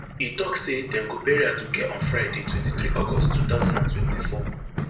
e tok say dem go bury aduke on friday twenty-three august two thousand and twenty-four